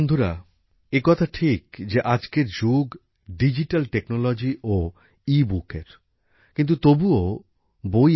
বন্ধুরা এ কথা ঠিক যে আজকের যুগ ডিজিটাল প্রযুক্তি ও ইবুকের কিন্তু তবুও বই